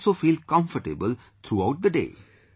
They also feel comfortable throughout the day